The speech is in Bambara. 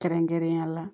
Kɛrɛnkɛrɛnnenya la